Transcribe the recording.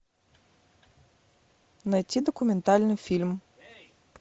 найти документальный фильм